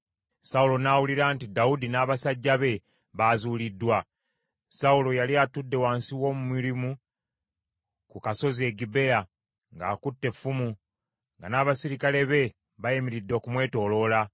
Sawulo n’awulira nti Dawudi n’abasajja be bazuuliddwa. Sawulo yali atudde wansi w’omumyulimu ku kasozi e Gibea ng’akutte effumu, nga n’abaserikale be bayimiridde okumwetooloola.